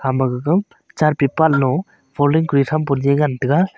ama gaga chart paper lo folding kori tham pu lue ngan taiga.